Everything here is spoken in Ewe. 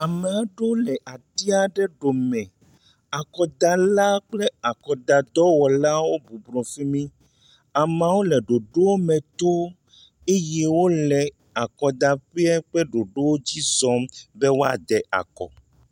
Ame aɖewo le ati aɖe ɖome, akɔdalawo kple akɔdadɔwɔlawo bɔbɔnɔ fi mi. Amewo le ɖoɖo me tom ey wole akɔdaƒee ƒe ɖoɖo dzi zɔm bɔe wɔa da akɔ.